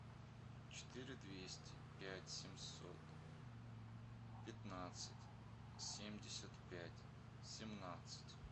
четыре двести пять семьсот пятнадцать семьдесят пять семнадцать